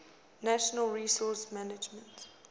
natural resource management